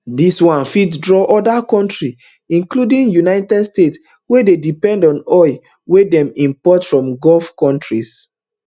dis one fit draw oda kontris including united states wey dey depend on oil wey dem import from gulf kontris